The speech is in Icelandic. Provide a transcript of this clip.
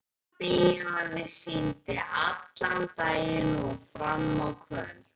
Gamla bíóið sýndi allan daginn og fram á kvöld.